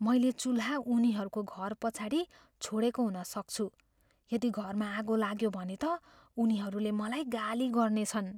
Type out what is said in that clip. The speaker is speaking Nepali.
मैले चुल्हा उनीहरूको घरपछाडि छोडेको हुन सक्छु। यदि घरमा आगो लाग्यो भने त उनीहरूले मलाई गाली गर्नेछन्।